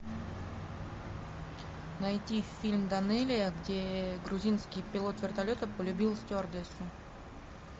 найти фильм данелия где грузинский пилот вертолета полюбил стюардессу